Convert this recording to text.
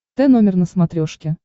т номер на смотрешке